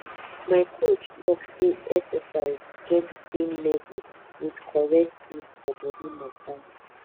my coach talk say exercise get the same level with correct food for body matter